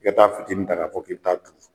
I ka taa fitini ta k'a fɔ k'i bɛ taa